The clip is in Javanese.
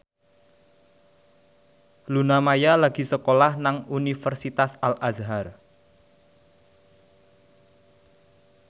Luna Maya lagi sekolah nang Universitas Al Azhar